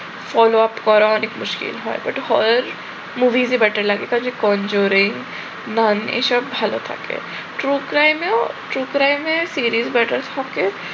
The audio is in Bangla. follow up করা অনেক মুশকিল হয়, but horror movies ই better লাগে কারণ যে কমজোড়ে নন এসব ভাল থাকে true crime এও true crime এ serious matter থাকে।